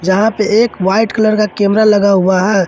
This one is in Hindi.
जहां पे एक वाइट कलर का कैमरा लगा हुआ है।